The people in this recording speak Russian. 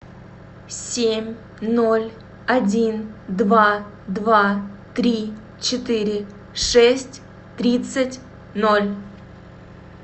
семь ноль один два два три четыре шесть тридцать ноль